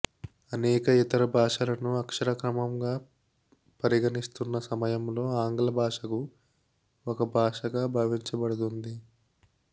అనేక ఇతర భాషలను అక్షరక్రమంగా పరిగణిస్తున్న సమయంలో ఆంగ్ల భాషకు ఒక భాషగా భావించబడుతుంది